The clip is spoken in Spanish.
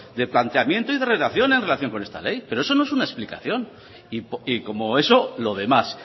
de planteamiento y de redacción en relación con esta ley pero eso no es una explicación y como eso lo demás